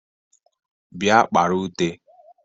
bia kpara ute